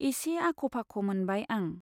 एसे आख' फाख' मोनबाय आं।